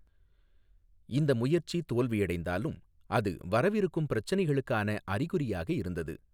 இந்த முயற்சி தோல்வியடைந்தாலும், அது வரவிருக்கும் பிரச்சினைகளுக்கான அறிகுறியாக இருந்தது.